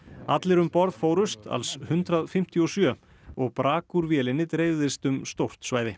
allir um borð fórust alls hundrað fimmtíu og sjö og brak úr vélinni dreifðist um stórt svæði